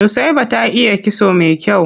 Nusaiba ta iya kitso mai kyau.